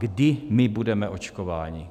Kdy my budeme očkováni?